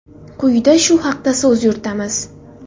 Quyida shu haqda so‘z yuritamiz.